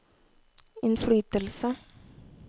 innflytelse